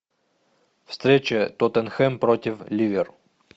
встреча тоттенхэм против ливер